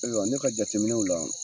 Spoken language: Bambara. Ayiwa ne ka jateminɛw la